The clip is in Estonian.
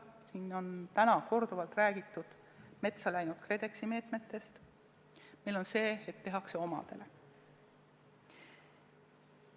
Siin on täna korduvalt räägitud metsa läinud KredExi meetmetest, meil on ka see, et palju tehakse omadele.